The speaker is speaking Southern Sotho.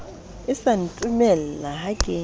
e sa ntumella ha ke